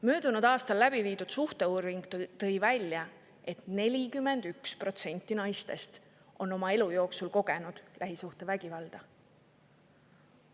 Möödunud aastal läbi viidud suhteuuring tõi välja, et 41% naistest on oma elu jooksul kogenud lähisuhtevägivalda.